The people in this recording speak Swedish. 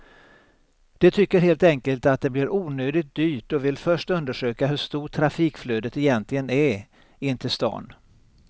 De tycker helt enkelt att det blir onödigt dyrt och vill först undersöka hur stort trafikflödet egentligen är in till stan.